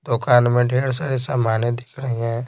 दुकान में ढेर सारे सामानें दिख रही हैं।